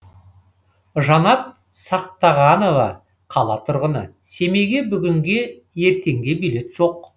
жанат сақтағанова қала тұрғыны семейге бүгінге ертеңге билет жоқ